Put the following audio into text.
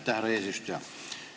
Aitäh, härra eesistuja!